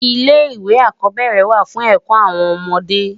Ilé iwé ákòbèrè wá fún èkò áwòn òmòdé